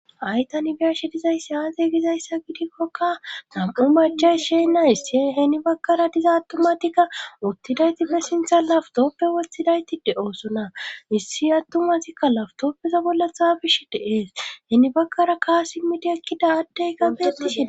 Hay tani biyashi dizayssi aaze gizayssa gidikkoka nam7u machay sheenna issiheni bakkara diza attumatikka ottidaytippe sintha lafutooppe woththidayti de oosona issi attumatikka lafutooppeza bolla thaabish deees heni bakkara kaa simmidi ekkida addey kafettishen.